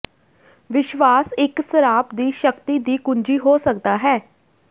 ਵਿਸ਼ਵਾਸ ਇਕ ਸਰਾਪ ਦੀ ਸ਼ਕਤੀ ਦੀ ਕੁੰਜੀ ਹੋ ਸਕਦਾ ਹੈ